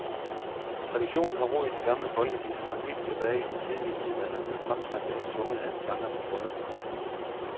Traditionen har rod i de gamle folkeviser, som helt tilbage i den tidlige middelalder blev fremsagt eller sunget af en sanger til bryllupper.